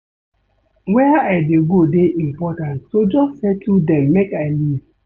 Where I dey go dey important so just settle dem make I leave